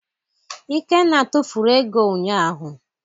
Ikenna tufuru ego ụnyaahụ.